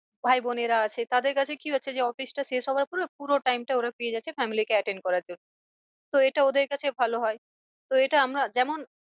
ভাই বোনেরা আছে তাদের কাছে কি হচ্ছে যে office টা শেষ হওয়ার পরে পুরো time টা ওরা পেয়ে যাচ্ছে family কে attend করার জন্যে তো এটা ওদের কাছে ভালো হয়। তো এটা আমরা যেমন